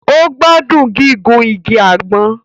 O gbádùn gígùn ìgi àgbon